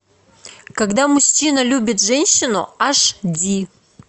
когда мужчина любит женщину аш ди